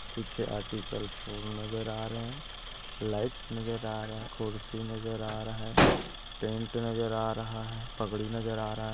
पीछे आर्टिकल फूल नजर आ रहे है लाइट नजर आ रहा है कुर्सी नजर आ रहा है टेंट नजर आ रहा है पगड़ी नजर आ रहा है।